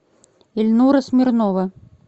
ильнура смирнова